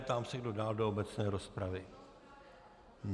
Ptám se, kdo dál do obecné rozpravy.